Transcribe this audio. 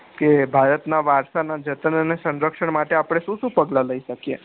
કે ભારતના વારસા ના જતન અને સરક્ષણ માં આપડે શું શું પગલા લઇ શકીએ